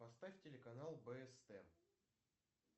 поставь телеканал бст